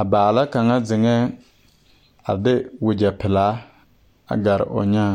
a baala kaŋa zeŋɛɛ de wagyɛ pelaa a gare o nyaaŋ.